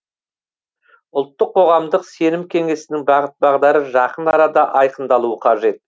ұлттық қоғамдық сенім кеңесінің бағыт бағдары жақын арада айқындалуы қажет